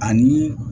Ani